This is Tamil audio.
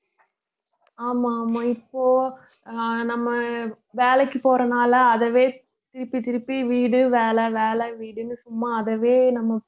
ஆமா ஆமா இப்போ அஹ் நம்ம வேலைக்கு போறதனால அதுவே திருப்பி திருப்பி வீடு வேலை வேலை வீடுன்னு சும்மா அதுவே நம்ம